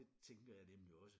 Det tænker jeg nemlig også